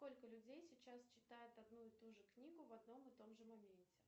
сколько людей сейчас читают одну и ту же книгу в одном и том же моменте